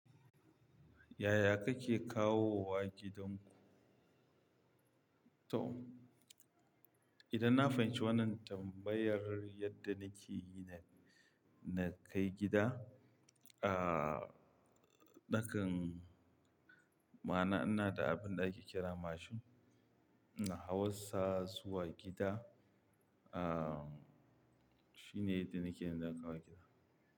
Yaya kake kawowa gidanku? To, idan na fahimci wannan tambayar yadda nake yi na, na kai gida, nakan ma'ana ina da abin ɗaki kira mashin. Na hauwa sa zuwa gida, shine yadda nake na kawo gida.